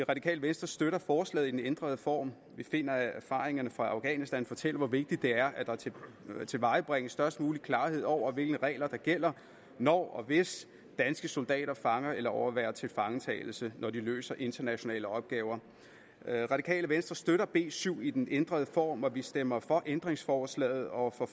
radikale venstre støtter forslaget i den ændrede form vi finder at erfaringerne fra afghanistan fortæller hvor vigtigt det er at der tilvejebringes størst mulig klarhed over hvilke regler der gælder når og hvis danske soldater fanger eller overværer tilfangetagelse når de løser internationale opgaver radikale venstre støtter b syv i den ændrede form og vi stemmer for ændringsforslaget og for